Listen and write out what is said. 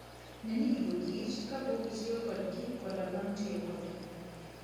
Ne ni gigo kichr kapok itiyo kodgi koda bang' tiyo kodgi.